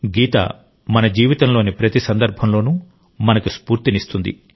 గీత మన జీవితంలోని ప్రతి సందర్భంలోనూ మనకు స్ఫూర్తినిస్తుంది